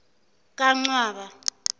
kancwaba